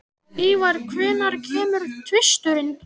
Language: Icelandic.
Ívar, hvenær kemur tvisturinn?